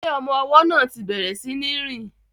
Ṣé ọmọ ọwọ́ náà ti bẹ̀rẹ̀ sí ní rìn?